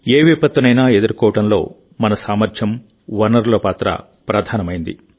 ఏ విపత్తునైనా ఎదుర్కోవడంలో మన సామర్థ్యం వనరుల పాత్ర ప్రధానమైంది